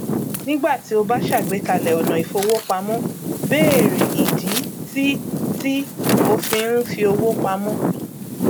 nígbà tí o bá ṣàgbékalẹ ọnà ìfowópamọ béèrè ìdí tí tí o fi ń fi owó pamọ